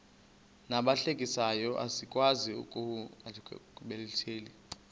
nabahlehliyo asikwazi ukungazikhathaieli